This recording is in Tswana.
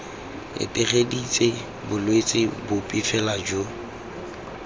etegeditse bolwetse bope fela jo